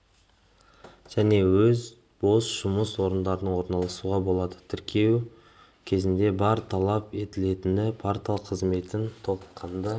және өз бос жұмыс орындарын орналастыруға болады тіркелу кезінде бар талап етілетіні портал қызметін толыққанды